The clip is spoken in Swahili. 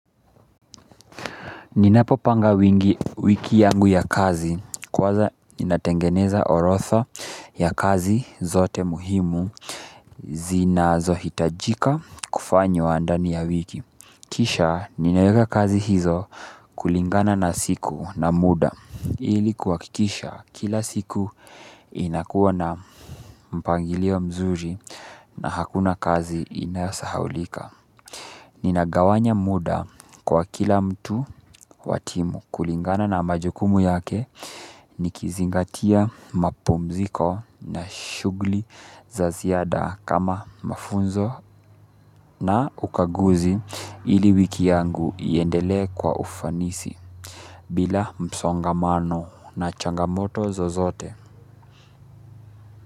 Ninapopanga wiki yangu ya kazi kwanza ninatengeneza orodha ya kazi zote muhimu zinazohitajika kufanywa ndani ya wiki. Kisha ninaeka kazi hizo kulingana na siku na muda ili kuhakikisha kila siku inakuwa na mpangilio mzuri na hakuna kazi inayosahaulika. Ninagawanya muda kwa kila mtu wa timu kulingana na majukumu yake nikizingatia mapumziko na shughuli za ziada kama mafunzo na ukaguzi ili wiki yangu iendelee kwa ufanisi bila msongamano na changamoto zozote.